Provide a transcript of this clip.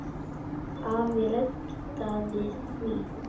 Afi reddaði því.